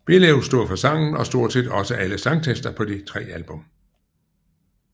Belew stod for sangen og stort set også alle sangtekster på de tre album